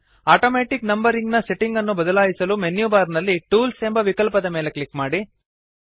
automatic numbering ನ setting ಅನ್ನು ಬದಲಾಯಿಸಲು ಮೆನ್ಯು ಬಾರ್ ನಲ್ಲಿ ಟೂಲ್ಸ್ ಎಂಬ ವಿಕಲ್ಪದ ಮೇಲೆ ಕ್ಲಿಕ್ ಮಾಡಿ